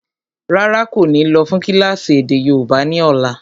Rárá, kò ní lọ́ fún kílásì èdè yóòbá ni ọ̀la.